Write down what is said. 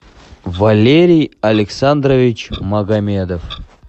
валерий александрович магомедов